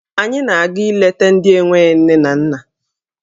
Anyị na-aga ileta ndị enwe nne na nna.